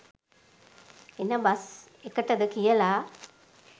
එන බස් එකටද කියලා.